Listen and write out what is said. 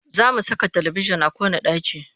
Za mu saka talibijin a kowanne ɗaki